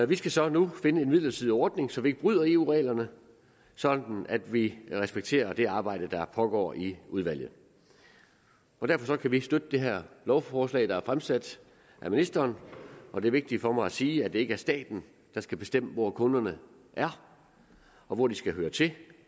vi skal så nu finde en midlertidig ordning så vi ikke bryder eu reglerne sådan at vi respekterer det arbejde der pågår i udvalget derfor kan vi støtte det her lovforslag der er fremsat af ministeren og det er vigtigt for mig at sige at det ikke er staten der skal bestemme hvor kunderne er og hvor de skal høre til